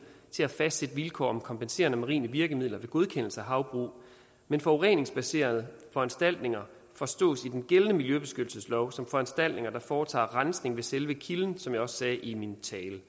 til at fastsætte vilkår om kompenserende marine virkemidler ved godkendelse af havbrug men forureningsbekæmpende foranstaltninger forstås i den gældende miljøbeskyttelseslov som foranstaltninger der foretager rensning ved selve kilden som jeg også sagde i min